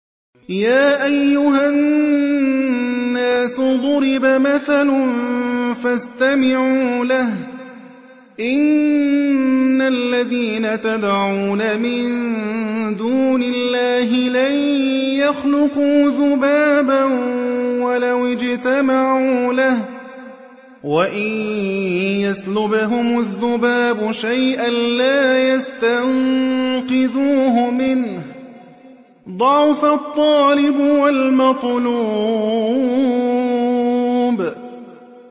يَا أَيُّهَا النَّاسُ ضُرِبَ مَثَلٌ فَاسْتَمِعُوا لَهُ ۚ إِنَّ الَّذِينَ تَدْعُونَ مِن دُونِ اللَّهِ لَن يَخْلُقُوا ذُبَابًا وَلَوِ اجْتَمَعُوا لَهُ ۖ وَإِن يَسْلُبْهُمُ الذُّبَابُ شَيْئًا لَّا يَسْتَنقِذُوهُ مِنْهُ ۚ ضَعُفَ الطَّالِبُ وَالْمَطْلُوبُ